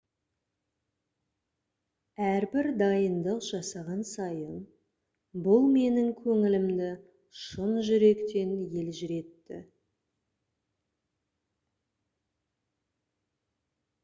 әрбір дайындық жасаған сайын бұл менің көңілімді шын жүректен елжіретті